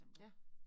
Ja